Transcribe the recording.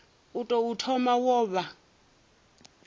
u tou thoma wo vha